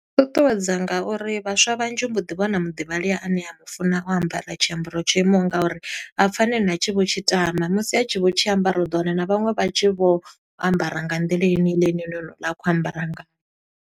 Ṱuṱuwedza nga uri vhaswa vhanzhi u mbo ḓi vhona muḓivhalea ane a mu funa o ambara tshiambaro tsho imaho nga uri. A pfa na ene a tshi vho tshi tama, musi a tshi vho tshi ambara, u ḓo wana na vhaṅwe vha tshi vho ambara nga nḓila heneiḽa ine na honouḽa a khou ambara ngayo.